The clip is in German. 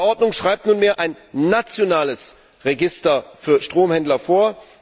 Diese Verordnung schreibt nunmehr ein nationales Register für Stromhändler vor.